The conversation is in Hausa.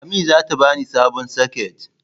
Lami zata bani sabon soket.